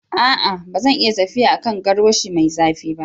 A'a! ba zan iya tafiya a kan garwashi mai zafi ba.